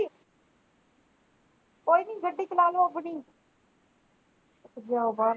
ਕੋਈ ਨੀ ਗੱਡੀ ਚਲਾ ਲੋ ਆਪਣੀ